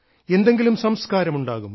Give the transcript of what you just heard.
എന്തെങ്കിലും സംസ്കാരം ഉണ്ടാകും